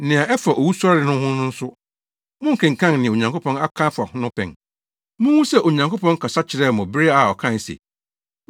Nea ɛfa owusɔre no ho no nso, monkenkan nea Onyankopɔn aka afa ho no pɛn? Munhu sɛ Onyankopɔn kasa kyerɛɛ mo bere a ɔkae se,